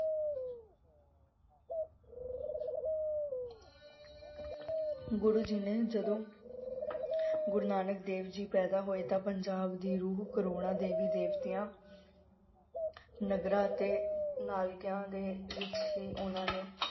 ਗੁਰੂ ਜੀ ਨੇ ਜਦੋਂ, ਗੁਰੂ ਨਾਨਕ ਦੇਵ ਜੀ ਪੈਦਾ ਹੋਏ ਤਾਂ ਪੰਜਾਬ ਦੀ ਰੂਹ ਕਰੋੜਾਂ ਦੇਵੀ ਦੇਵਤਿਆਂ ਨਗਰਾਂ ਅਤੇ ਦੇ ਵਿਚ ਹੀ ਉਨ੍ਹਾਂ ਨੇ